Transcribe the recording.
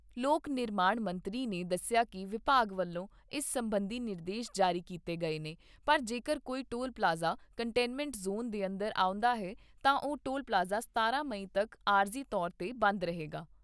ਲੋਕ ਨਿਰਮਾਣ ਮੰਤਰੀ ਨੇ ਦੱਸਿਆ ਕਿ ਵਿਭਾਗ ਵੱਲੋਂ ਇਸ ਸਬੰਧੀ ਨਿਰਦੇਸ਼ ਜਾਰੀ ਕੀਤੇ ਗਏ ਨੇ, ਪਰ ਜੇਕਰ ਕੋਈ ਟੋਲ ਪਲਾਜ਼ਾ ਕੰਟੇਨਮੈਂਟ ਜ਼ੋਨ ਦੇ ਅੰਦਰ ਆਉਂਦਾ ਹੈ ਤਾਂ ਉਹ ਟੋਲ ਪਲਾਜ਼ਾ ਸਤਾਰਾਂ ਮਈ ਤੱਕ ਆਰਜ਼ੀ ਤੌਰ 'ਤੇ ਬੰਦ ਰਹੇਗਾ।